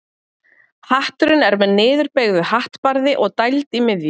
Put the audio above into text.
Hatturinn er með niðurbeygðu hattbarði og dæld í miðju.